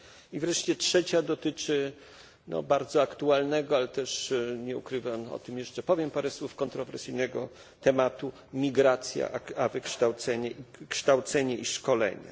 I wreszcie trzecia dotyczy bardzo aktualnego, ale też nie ukrywam o tym jeszcze powiem parę słów kontrowersyjnego tematu migracja a kształcenie i szkolenia.